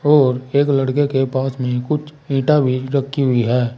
और एक लड़के के पास में कुछ ईंटा भी रखी हुई है।